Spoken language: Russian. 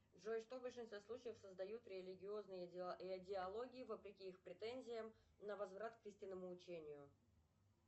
джой что в большинстве случаев создают религиозные идеологии вопреки их претензиям на возврат к истинному учению